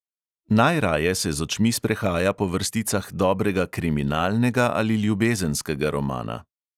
Najraje se z očmi sprehaja po vrsticah dobrega kriminalnega ali ljubezenskega romana.